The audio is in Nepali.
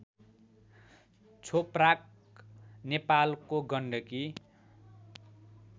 छोप्राक नेपालको गण्डकी